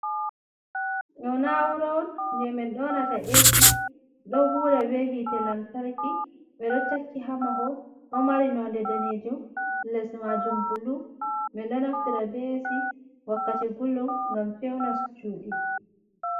Ɗo na'ura on je min ɗonata esi, ɗo huda be hite lamtarki ɓedo takki hamahol, ɗo mari nonde danejum les majum bulu, min ɗo naftira be esi wakkati gulɗum ngam fewna cudi.